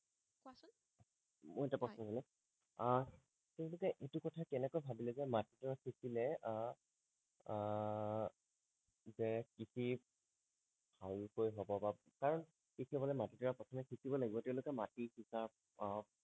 আহ তেওঁলোকে এইটো কথা কেনেকৈ ভাবিলে যে মাটি দৰা সিচিলে আহ আহ যে কৃষি ভালকৈ হব বা কাৰণ কৃষি হবলৈ মাটি দৰা প্ৰথমে সিচিব লাগিব তেওঁলোকে মাটি সিচা আহ